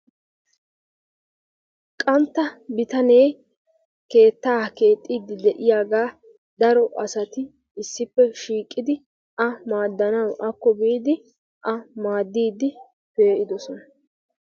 qantta bitanee keettaa keexxiidi de'iyaagaa daro asati issippe shiiqqidi akko biidi a maaddiidi pe'idoosna.